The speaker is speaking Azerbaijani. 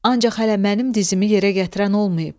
Ancaq hələ mənim dizimi yerə gətirən olmayıb.